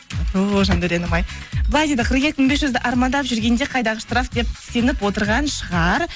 ооо жандауренім ай былай дейді қырық екі мың бес жүз армандап жүргенде қайдағы штраф деп сеніп отырған шығар